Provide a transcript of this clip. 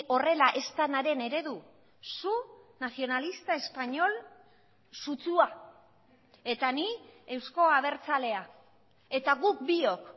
horrela ez denaren eredu zu nacionalista español sutsua eta ni eusko abertzalea eta guk biok